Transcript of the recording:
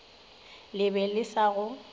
le be le sa go